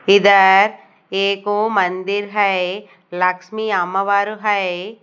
इधर एको मंदिर है लक्ष्मी अम्मावरु है।